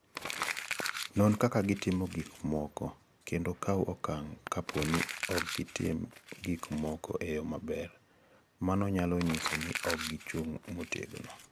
Non kaka gitimo gik moko, kendo kaw okang' kapo ni ok gitim gik moko e yo maber, mano nyalo nyiso ni ok gichung' motegno.